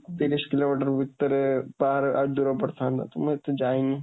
ତିରିଶ କିଲୋମିଟର ଭିତରେ, ବାହାରେ ଆହୁରି ଦୂର ପଡ଼ିଥାଆନ୍ତା, ମୁଁ ଏତେ ଯାଇନି।